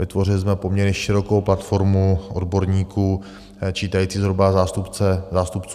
Vytvořili jsme poměrně širokou platformu odborníků čítající zhruba zástupce 160 subjektů.